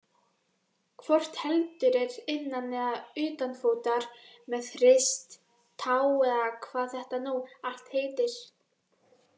Hvort heldur er innan eða utanfótar, með rist, tá eða hvað þetta nú allt heitir.